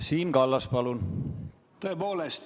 Siim Kallas, palun!